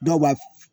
Dɔw b'a